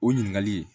O ɲininkali